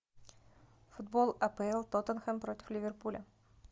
футбол апл тоттенхэм против ливерпуля